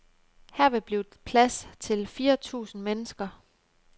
Her vil blive plads til fire tusinde mennesker.